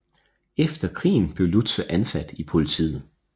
Efter krigen blev Lutze ansat i politiet